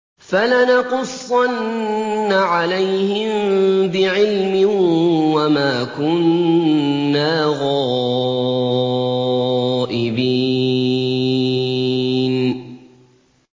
فَلَنَقُصَّنَّ عَلَيْهِم بِعِلْمٍ ۖ وَمَا كُنَّا غَائِبِينَ